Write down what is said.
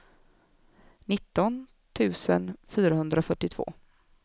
nitton tusen fyrahundrafyrtiotvå